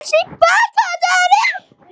Heiða var aftur orðin rauð í framan.